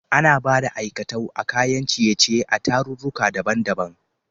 Ana Bada aikatau na kayan ciye ciye a tararruka daban daban